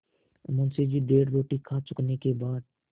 मुंशी जी डेढ़ रोटी खा चुकने के बाद